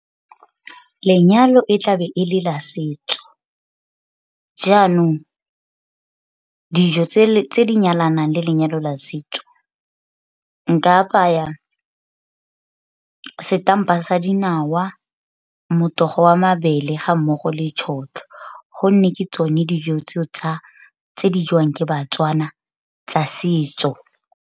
Lenyalo e tlabe e le la setso, jaanong dijo tse di nyalanang le lenyalo la setso nka apaya setampa sa dinawa, motogo wa mabele, ga mmogo le tšhotlho gonne ke tsone dijo tseo tse di jwang ke baTswana tsa setso.